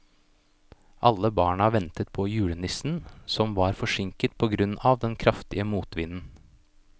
Alle barna ventet på julenissen, som var forsinket på grunn av den kraftige motvinden.